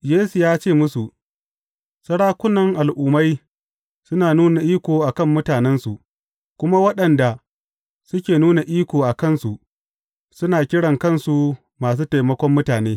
Yesu ya ce musu, Sarakunan Al’ummai suna nuna iko a kan mutanensu, kuma waɗanda suke nuna iko a kansu, suna kiran kansu Masu Taimakon mutane.